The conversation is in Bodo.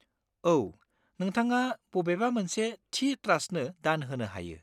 औ, नोंथाङा बबेबा मोनसे थि ट्रास्टनो दान होनो हायो।